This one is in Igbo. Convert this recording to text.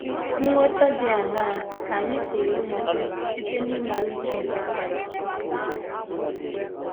Nghọta dị aṅaa ka anyị pụrụ inweta site n’ịmara uche nke Kraịst?